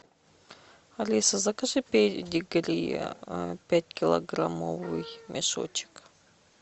алиса закажи педигри пятикилограммовый мешочек